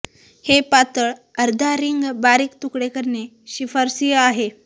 हे पातळ अर्धा रिंग बारीक तुकडे करणे शिफारसीय आहे